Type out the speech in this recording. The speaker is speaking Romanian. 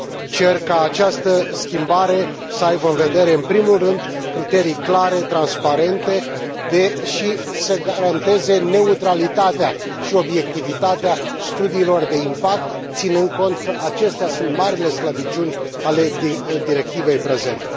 Cer ca această schimbare să aibă în vedere, în primul rând, criterii clare, transparente și să garanteze neutralitatea și obiectivitatea studiilor de impact, ținând cont că acestea sunt marile slăbiciuni ale directivei prezente.